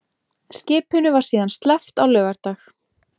Skipinu var síðan sleppt á laugardag